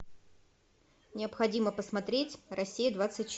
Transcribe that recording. необходимо посмотреть россия двадцать четыре